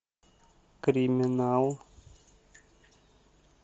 криминал